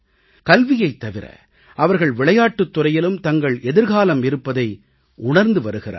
கல்வியைத் தவிர அவர்கள் விளையாட்டுத் துறையிலும் தங்கள் எதிர்காலம் இருப்பதை அவர்கள் உணர்ந்து வருகிறார்கள்